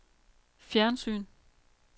fjernsyn